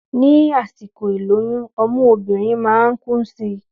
Ní àsìkò ìlóyún ọmú obìnrin máa ń kún si